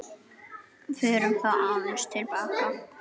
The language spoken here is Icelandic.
Förum þá aðeins til baka.